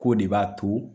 K'o de b'a to